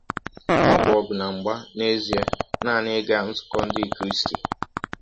Ọ bụ ọgụ na mgba n’ezie nanị ịga nzụkọ ndị Kristị.